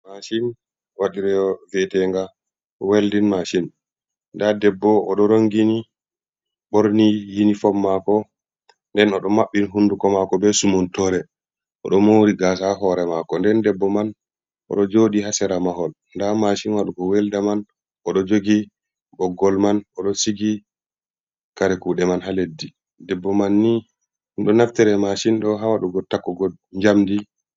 Maasin wi'atenga weldin mahsin, nda debbo oɗo rongini ɓorni yini fom mako, nden oɗo maɓɓi hunduko mako be sumuntore, oɗo mouri gaasa hore mako, nden debbo man oɗo jodi ha sera mahol, nda mashin waɗugo welda man oɗo jogi boggol man oɗo sigi kare kuɗe man ha leddi ,debbo man ni oɗo nafteree masin ɗo ha waɗugo takkugo jamdi.